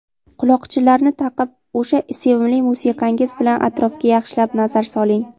quloqchinlarni taqib o‘sha sevimli musiqangiz bilan atrofga yaxshilab nazar soling.